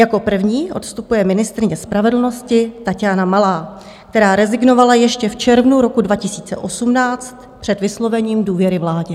Jako první odstupuje ministryně spravedlnosti Taťána Malá, která rezignovala ještě v červnu roku 2018 před vyslovením důvěry vládě.